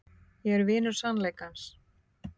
Ég er vinur sannleikans.